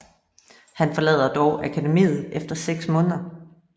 Han forlader dog akademiet efter seks måneder